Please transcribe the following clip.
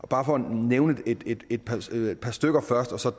bare nævne et par stykker par stykker først og så